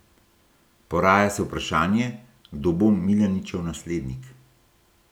Poraja se vprašanje, kdo bo Milaničev naslednik.